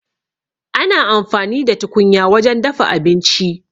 Ana amfani da tukunya wajen dafa abinci